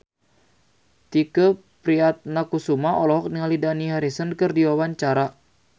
Tike Priatnakusuma olohok ningali Dani Harrison keur diwawancara